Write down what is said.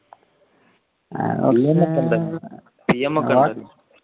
BM ഒക്കെ ഉണ്ടല്ലേ?